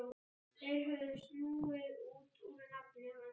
Þeir höfðu snúið út úr nafni hans.